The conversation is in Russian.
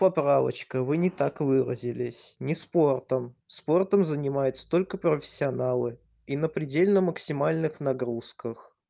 поправочка вы не так выразились не спортом спортом занимаются только профессионалы и на предельно максимальных нагрузках